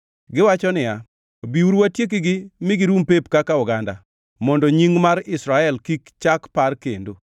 Giwacho niya, “Biuru watiekgi mi girum pep kaka oganda, mondo nying mar Israel kik chak par kendo.”